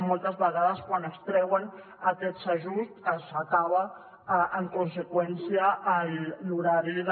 moltes vegades quan es treuen aquests ajuts s’acaba en conseqüència l’horari de